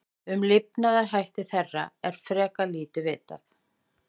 Um lifnaðarhætti þeirra er frekar lítið vitað.